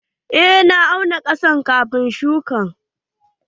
Eh na auna ƙasar kafin shuƙa.